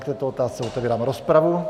K této otázce otevírám rozpravu.